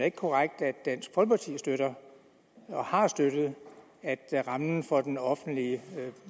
ikke korrekt at dansk folkeparti støtter og har støttet at rammen for den offentlige